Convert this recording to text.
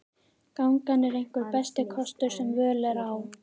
Gangan er einhver besti kostur sem völ er á.